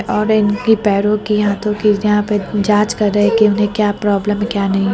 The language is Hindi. और इनकी पैरों की हाथों की यहां पे जांच कर रहे हैं कि उन्‍हें क्या प्रॉब्लम है क्या नहीं है।